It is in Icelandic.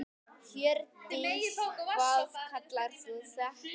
Hjördís: Hvað kallar þú þetta?